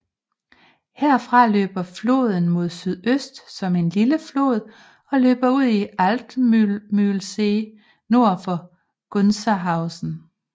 Herfra løber floden mod sydøst som en lille flod og løber ud i Altmühlsee nord for Gunzenhausen